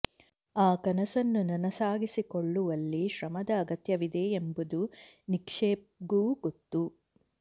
ಆ ಕನಸನ್ನು ನನಸಾಗಿಸಿಕೊಳ್ಳುವಲ್ಲಿ ಶ್ರಮದ ಅಗತ್ಯವಿದೆ ಎಂಬುದು ನಿಕ್ಷೇಪ್ಗೂ ಗೊತ್ತು